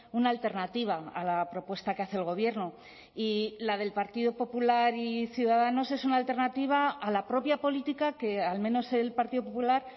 una alternativa a la propuesta que hace el gobierno y la del partido popular y ciudadanos es una alternativa a la propia política que al menos el partido popular